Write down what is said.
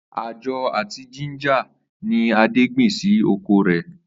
Àjó àti jíńjà ni Adé gbìn sí oko rè̩